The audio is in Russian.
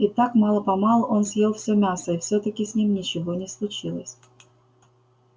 и так мало-помалу он съел всё мясо и всё таки с ним ничего не случилось